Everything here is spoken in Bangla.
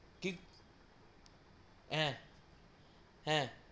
কি হা হা